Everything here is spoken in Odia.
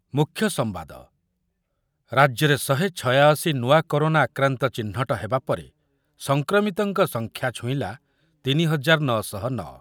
ମୂଖ୍ୟ ସମ୍ବାଦ, ରାଜ୍ୟରେ ଶହେ ଛୟାଅଶି ନୂଆ କରୋନା ଆକ୍ରାନ୍ତ ଚିହ୍ନଟ ହେବା ପରେ ସଂକ୍ରମିତଙ୍କ ସଂଖ୍ୟା ଛୁଇଁଲା ତିନି ହଜାର ନଅ ଶହ ନଅ ।